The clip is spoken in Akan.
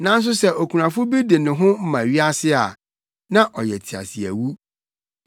Nanso sɛ okunafo bi de ne ho ma wiase a, na ɔyɛ teaseawu.